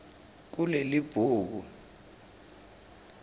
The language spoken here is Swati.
kulelibhuku